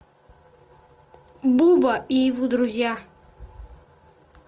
буба и его друзья